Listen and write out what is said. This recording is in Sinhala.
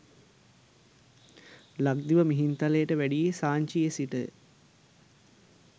ලක්දිව මිහින්තලයට වැඩියේ සාංචියේ සිටය.